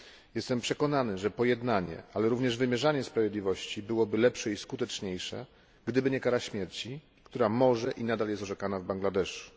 Jestem przekonany, że pojednanie, ale również wymierzanie sprawiedliwości byłoby lepsze i skuteczniejsze, gdyby nie kara śmierci, która może być i nadal jest orzekana w Bangladeszu.